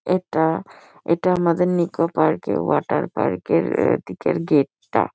এটা এটা আমাদের নিকো পার্ক -এ ওয়াটার পার্ক -এর এ দিকের গেট টা।